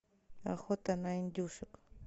охота на индюшек